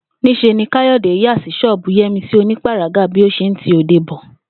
Ní s̩e ni Káyò̩dé yà sí s̩ó̩ò̩bù Yé̩misí onípàragá bí ó s̩e ń ti òde bo